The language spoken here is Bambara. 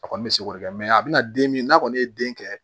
A kɔni bɛ se k'o kɛ mɛ a bɛna den min n'a kɔni ye den kɛ